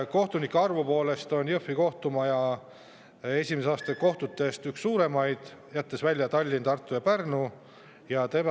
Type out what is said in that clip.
Kohtunike arvu poolest on Jõhvi kohtumaja esimese astme kohtutest üks suuremaid, jättes välja Tallinna, Tartu ja Pärnu.